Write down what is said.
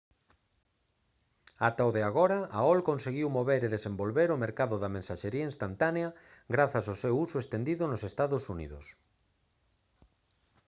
ata o de agora aol conseguiu mover e desenvolver o mercado de mensaxería instantánea grazas ou seu uso estendido nos ee uu